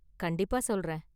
கண்டிப்பாக சொல்றேன்.